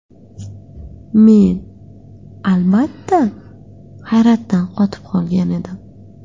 Men, albatta, hayratdan qotib qolgan edim.